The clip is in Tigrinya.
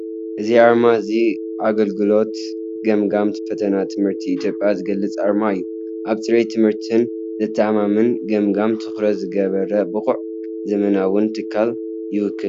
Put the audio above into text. እዚ ኣርማ እዚ ኣገልግሎት ገምጋምን ፈተናን ትምህርቲ ኢትዮጵያ ዝገልፅ ኣርማ እዩ። ኣብ ፅሬት ትምህርትን ዘተኣማምን ገምጋምን ትኹረት ዝገበረ ብቑዕን ዘመናውን ትካል ይውክል፡፡